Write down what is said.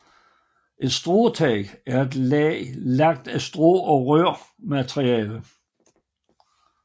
Et stråtag er et tag lagt af strå og rør materiale